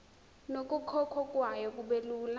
nokukhokhwa kwayo kubelula